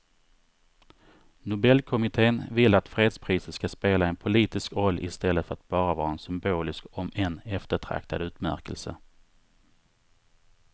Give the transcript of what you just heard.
Nobelkommittén vill att fredspriset ska spela en politisk roll i stället för att bara vara en symbolisk om än eftertraktad utmärkelse.